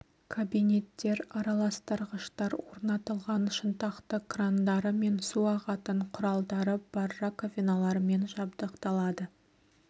кабинеттер араластырғыштар орнатылған шынтақты крандары мен су ағатын құралдары бар раковиналармен жабдықталады